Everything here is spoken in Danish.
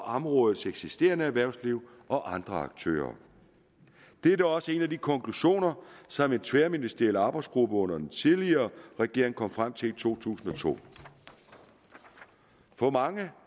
områdets eksisterende erhvervsliv og andre aktører det er da også en af de konklusioner som en tværministeriel arbejdsgruppe under den tidligere regering kom frem til i to tusind og to for mange